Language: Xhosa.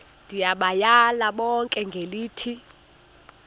ndibayale bonke ngelithi